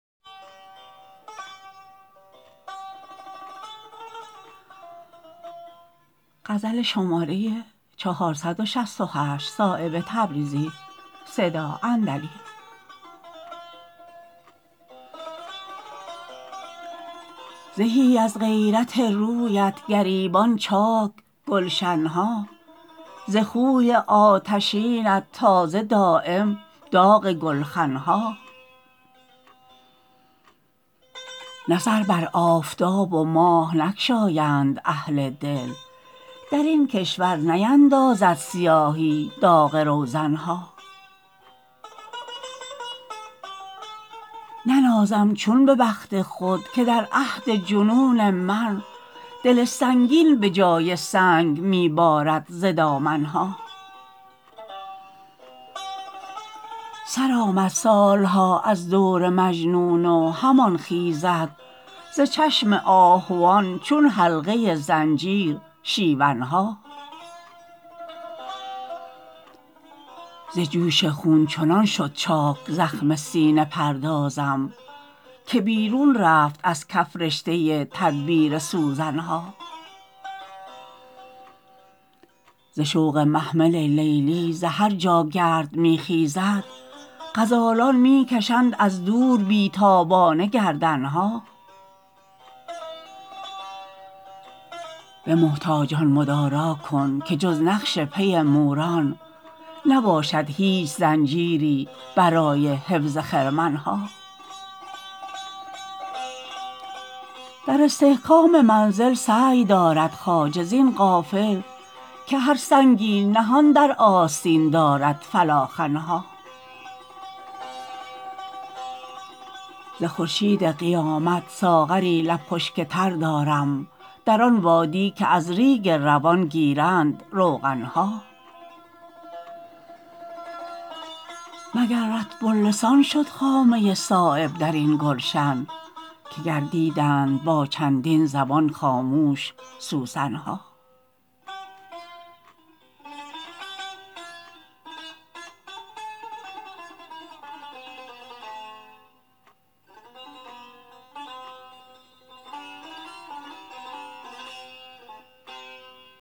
زهی از غیرت رویت گریبان چاک گلشن ها ز خوی آتشینت تازه دایم داغ گلخن ها نظر بر آفتاب و ماه نگشایند اهل دل درین کشور نیندازد سیاهی داغ روزن ها ننازم چون به بخت خود که در عهد جنون من دل سنگین به جای سنگ می بارد ز دامن ها سر آمد سال ها از دور مجنون و همان خیزد ز چشم آهوان چون حلقه زنجیر شیون ها ز جوش خون چنان شد چاک زخم سینه پردازم که بیرون رفت از کف رشته تدبیر سوزن ها ز شوق محمل لیلی ز هرجا گرد می خیزد غزالان می کشند از دور بی تابانه گردن ها به محتاجان مدارا کن که جز نقش پی موران نباشد هیچ زنجیری برای حفظ خرمن ها در استحکام منزل سعی دارد خواجه زین غافل که هر سنگی نهان در آستین دارد فلاخن ها ز خورشید قیامت ساغری لب خشک تر دارم در آن وادی که از ریگ روان گیرند روغن ها مگر رطب اللسان شد خامه صایب درین گلشن که گردیدند با چندین زبان خاموش سوسن ها